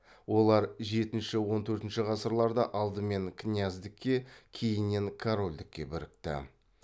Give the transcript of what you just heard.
олар жетінші он төртінші ғасырларда алдымен князьдікке кейіннен корольдікке бірікті